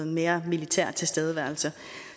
mere militær tilstedeværelse